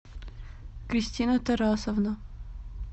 кристина тарасовна